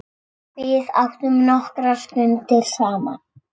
Við áttum nokkrar stundir saman.